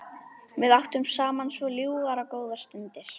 Við áttum saman svo ljúfar og góðar stundir.